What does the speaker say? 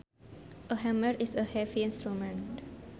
A hammer is a heavy instrument